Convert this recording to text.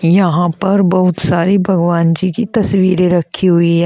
यहां पर बहुत सारी भगवान जी की तस्वीरें रखी हुई है।